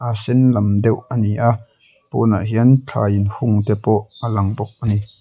a sen lam deuh ani a pawnah hian thlai inhung te pawh a lang bawk ani.